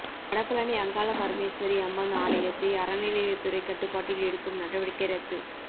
வடபழனி அங்காள பரமேஸ்வரி அம்மன் ஆலயத்தை அறநிலையத்துறை கட்டுப்பாட்டில் எடுக்கும் நடவடிக்கை ரத்து